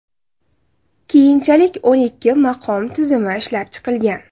Keyinchalik o‘n ikki maqom tizimi ishlab chiqilgan.